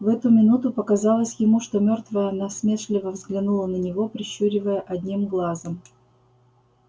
в эту минуту показалось ему что мёртвая насмешливо взглянула на него прищуривая одним глазом